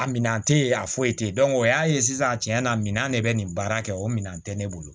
A minɛn tɛ ye a foyi te yen o y'a ye sisan tiɲɛ na ne bɛ nin baara kɛ o minɛn tɛ ne bolo